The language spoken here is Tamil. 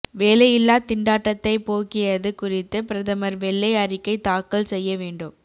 வேலையில்லா திண்டாட்டத்தை போக்கியது குறித்து பிரதமர் வெள்ளை அறிக்கை தாக்கல் செய்ய வேண்டும்